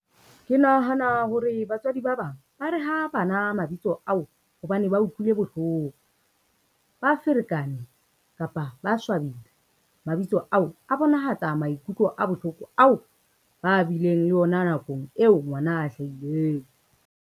Ke nahana hore batswadi ba bang ba re ha bana mabitso ao, hobane ba utlwile bohloko, ba ferekane, kapa ba swabile. Mabitso ao a bonahatsa maikutlo a bohloko ao, ba bileng le ona nakong eo ngwana a hlahileng.